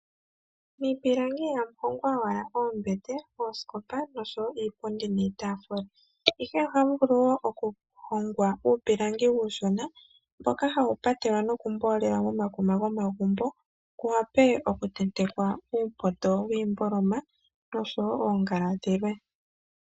Miipilangi ihamu hongwa owala oombete, oosikopa noshowo iipundi niitafula, ihe ohamu vulu wo okuhongwa uupilangi uushona, mboka hawu patelwa nokumboolelwa momakuma gomagumbo, kuwape okutentekwa uupoto wiimboloma noshowo oongala dhilwe.